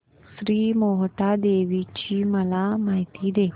श्री मोहटादेवी ची मला माहिती दे